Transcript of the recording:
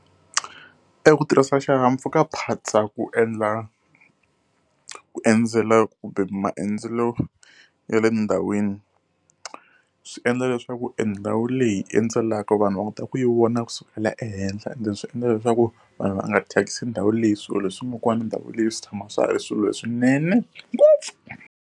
E ku tirhisa xihahampfhukaphatsa ku endla ku endzela kumbe maendlelo ya le ndhawini swiendla leswaku endhawu leyi hi yi endzelaka vanhu va kota ku yi vona kusukela ehenhla, ende swi endla leswaku vanhu va nga thyakisi ndhawu leyi. Swilo leswi nga kwala ka ndhawu leyi swi tshama swi ri swilo leswinene ngopfu.